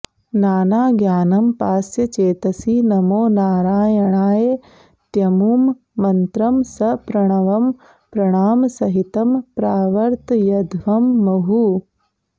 नानाज्ञानमपास्य चेतसि नमो नारायणायेत्यमुं मन्त्रं सप्रणवं प्रणामसहितं प्रावर्तयध्वं मुहुः